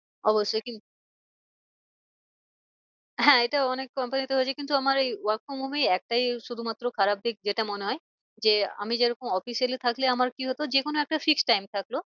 অবশ্যই হ্যাঁ এটা অনেক company তে হয়েছে কিন্তু আমার এই work from home এ এই একটাই শুধু মাত্র খারাপ দিক যেটা মনে হয়। যে আমি যেরকম officially থাকলে আমার কি হতো যে কোনো একটা fix time থাকলো।